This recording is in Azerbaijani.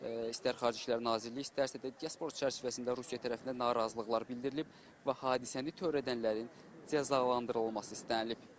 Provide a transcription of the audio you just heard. İstər Xarici İşlər Nazirliyi, istərsə də diaspor çərçivəsində Rusiya tərəfindən narazılıqlar bildirilib və hadisəni törədənlərin cəzalandırılması istənilib.